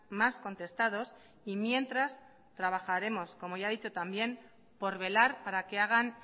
más contestados y mientras trabajaremos como ya ha dicho también por velar para que hagan